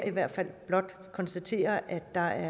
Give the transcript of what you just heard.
i hvert fald konstatere at der